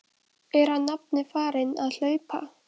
Er hann nafni farinn að hlaupa?